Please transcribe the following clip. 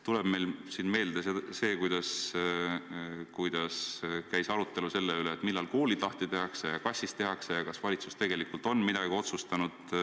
Tuleb meelde näiteks see, kuidas käis arutelu selle üle, millal koolid lahti tehakse ja kas üldse tehakse ja kas valitsus tegelikult on midagi otsustanud.